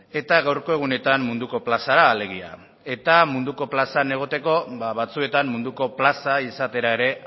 eta gaurko egunetan munduko plazara alegia eta munduko plazan egoteko batzuetan munduko plaza izatera ere